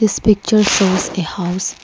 this picture shows a house.